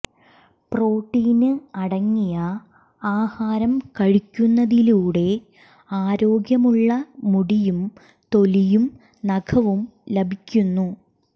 protein അടങ്ങിയ ആഹാരം കഴിക്കുന്നതിലൂടെ ആരോഗ്യമുള്ള മുടിയും തൊലിയും നഖവും ലഭിക്കുന്നു